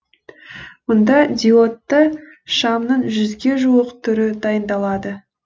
мұнда диодты шамның жүзге жуық түрі дайындалады